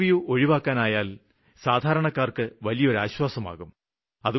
interview ഒഴിവാക്കാനായാല് സാധാരണക്കാര്ക്ക് വലിയൊരു ആശ്വാസമാകും